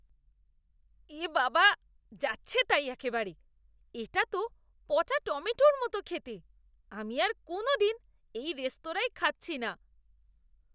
এ বাবা! যাচ্ছেতাই একেবারে! এটা তো পচা টমেটোর মতো খেতে, আমি আর কোনদিন এই রেস্তোরাঁয় খাচ্ছি না।